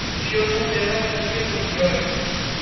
ખુશીયો નો તેહવાર કઈ એ તો દિવાળી